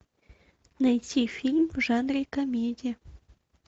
найти фильм в жанре комедия